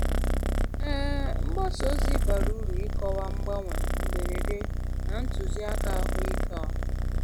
um Mgbasa ozi bara uru n'ịkọwa mgbanwe mberede na ntụzịaka ahụike ọha.